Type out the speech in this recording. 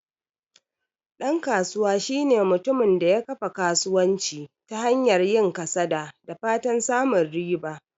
Dan kasuwa shine mutumin da ya kafa kasuwanci ta hanyar yin kasada da fatan samun riba.